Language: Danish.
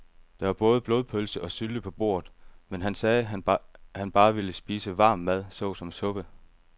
Der var både blodpølse og sylte på bordet, men han sagde, at han bare ville spise varm mad såsom suppe.